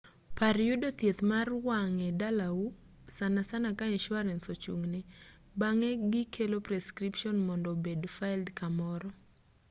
par yudo thieth mar wang' e dalau sanasana ka insurance ochung'ne bang'e gikelo prescription mondo obed filed kamoro